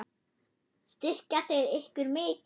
Styrkja þeir ykkur mikið?